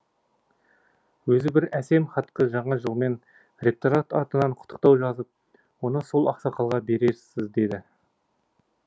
өзі бір әсем хатқа жаңа жылмен ректорат атынан құттықтау жазып оны сол ақсақалға берерсіз деді